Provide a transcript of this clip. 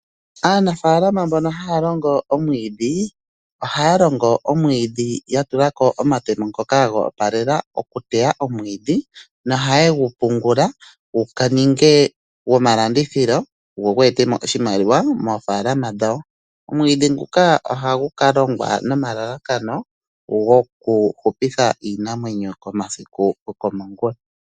Aanafalama mbono haya longo omwiidhi ohaya longo omwiidhi ya tulako omatemo ngoka go opalela oku teya omwiidhi noha yegu pungula gu ninge gwomalandithilo go ogu ete mo oshimaliwa moofalama dhawo. Omwiidhi nguka ohagu ka longwa nomalalakano goku hupitha iinamwenyo komasiku goko mongula.